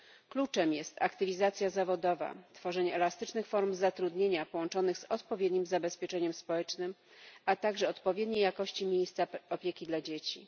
Kluczem jest aktywizacja zawodowa, tworzenie elastycznych form zatrudnienia połączonych z odpowiednim zabezpieczeniem społecznym, a także odpowiedniej jakości miejsca opieki dla dzieci.